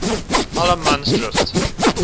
allemansdrift